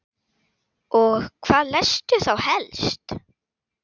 Og hvað lestu þá helst?